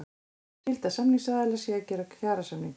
Skylda samningsaðila sé að gera kjarasamninga